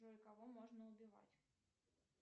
джой кого можно убивать